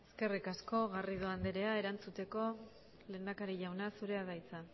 gabe eskerrik asko eskerrik asko garrido anderea erantzuteko lehendakari jauna zurea da hitza